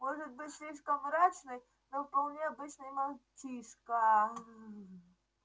может быть слишком мрачный но вполне обычный мальчишка